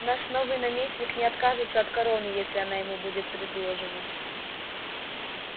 наш новый наместник не откажется от короны если она ему будет предложена